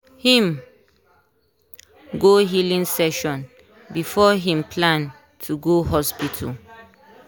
him go healing session before him plan to go hospital